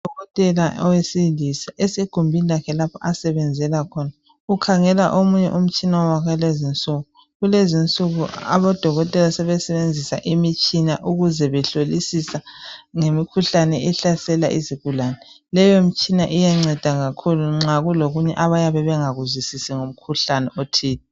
Udokotela owesilisa esegumbini lakhe lapho asebenzela khona ukhangela omunye umtshina wakulezinsuku kulezinsuku abodokotela sebesebenzisa imitshina ukuze behlolisisa ngemikhuhlane ehlasela izigulane leyo mitshina iyanceda kakhulu nxa kulokunye abayabe bengakuzwisisi ngomkhuhlane othile.